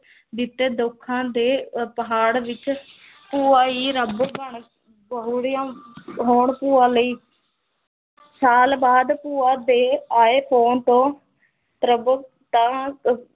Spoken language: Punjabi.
ਦਿੱਤੇ ਦੁੱਖਾਂ ਦੇ ਅਹ ਪਹਾੜ ਵਿੱਚ ਭੂਆ ਹੀ ਰੱਬ ਬਣ ਹੋਣ ਭੂਆ ਲਈ ਸਾਲ ਬਾਅਦ ਭੂਆ ਦੇ ਆਏ phone ਤੋਂ